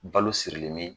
Balo sirilen bɛ